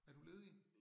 Er du ledig?